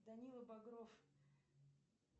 данила багров